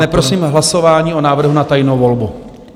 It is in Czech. Ne, prosím hlasování o návrhu na tajnou volbu.